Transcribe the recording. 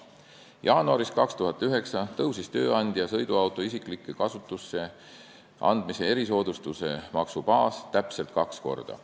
Jaanuaris 2009 tõusis tööandja sõiduauto isiklikku kasutusse andmise erisoodustuse maksu baas täpselt kaks korda.